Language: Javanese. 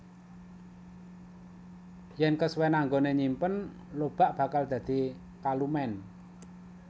Yen kesuwèn anggone nyimpen lobak bakal dadi kalumen